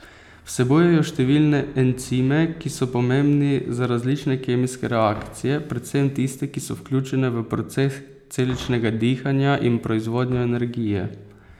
Vsebujejo številne encime, ki so pomembni za različne kemijske reakcije, predvsem tiste, ki so vključene v proces celičnega dihanja in proizvodnjo energije.